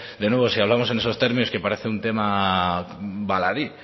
de nuevo si hablamos en esos términos un tema baladí